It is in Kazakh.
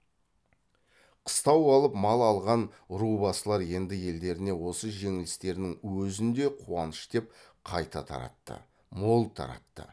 қыстау алып мал алған ру басылар енді елдеріне осы жеңістерінің өзін де қуаныш деп қайта таратты мол таратты